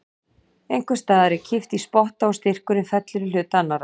En einhvers staðar er kippt í spotta og styrkurinn fellur í hlut annarrar.